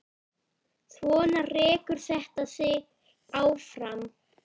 Svona rekur þetta sig áfram.